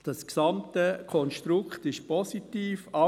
Das gesamte Konstrukt ist positiv.